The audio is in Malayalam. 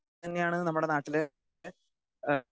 സ്പീക്കർ 2 തന്നെയാണ് നമ്മുടെ നാട്ടില്